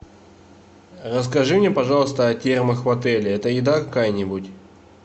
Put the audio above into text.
расскажи мне пожалуйста о термах в отеле это еда какая нибудь